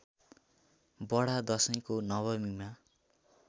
बडा दशैको नवमीमा